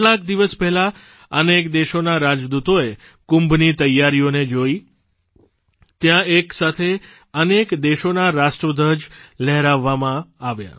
કેટલાક દિવસ પહેલાં અનેક દેશોના રાજદૂતોએ કુંભની તૈયારીઓને જોઇ ત્યાં એક સાથે અનેક દેશોના રાષ્ટ્રધ્વજ લહેરાવવામાં આવ્યા